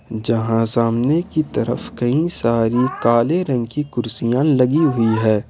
यहां सामने की तरफ कई सारी काले रंग की कुर्सियां लगी हुई है।